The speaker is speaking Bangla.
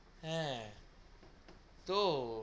হা তো